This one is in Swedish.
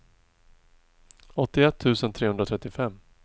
åttioett tusen trehundratrettiofem